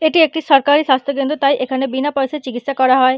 এটি একটি সরকারি স্বাস্থ্য কেন্দ্র তাই এখানে বিনা পয়সায় চিকিৎসা করা হয় ।